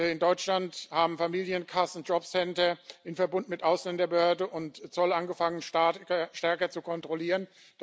In Deutschland haben Familienkassen, Jobcenter in Verbund mit Ausländerbehörde und Zoll angefangen, stärker zu kontrollieren.